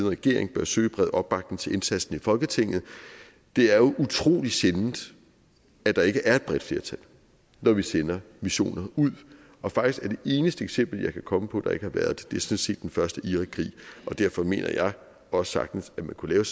regering bør søge bred opbakning til indsatsen i folketinget det er jo utrolig sjældent at der ikke er et bredt flertal når vi sender missioner ud og faktisk er det eneste eksempel jeg kan komme på hvor der ikke har været det sådan set den første irakkrig og derfor mener jeg også sagtens at man kunne lave